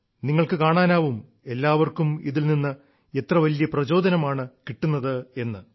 നിങ്ങൾക്കു കാണാനാവും എല്ലാവർക്കും ഇതിൽ നിന്ന് എത്ര വലിയ പ്രചോദനമാണ് കിട്ടുന്നതെന്ന്